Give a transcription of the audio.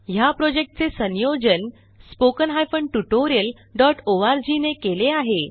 ह्या प्रॉजेक्टचे संयोजन httpspoken tutorialorg ने केले आहे